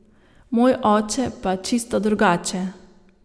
Moj oče pa čisto drugače.